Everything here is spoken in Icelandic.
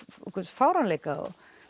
fáránleika